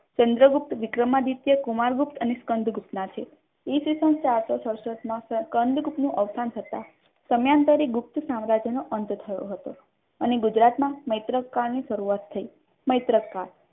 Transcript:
Chandragupta Vikramaditya Kumaragupta અને સ્કંદગુપ્ત ના છે ઇસવીસન ચારસો સડસઠ માં કંદગુપ્તનું અવસાન થતાં સમાનતરે ગુપ્ત સામ્રાજ્યનો અંત થયો હતો અને ગુજરાતમાં મૈત્રકાળની શરૂઆત થઈ મૈત્રકાળ